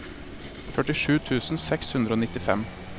førtisju tusen seks hundre og nittifem